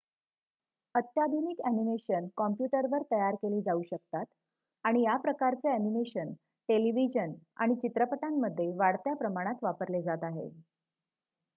अत्याधुनिक अ‍ॅनिमेशन कॉम्प्युटरवर तयार केली जाऊ शकतात आणि या प्रकारचे अ‍ॅनिमेशन टेलिव्हिजन आणि चित्रपटांमध्ये वाढत्या प्रमाणात वापरले जात आहे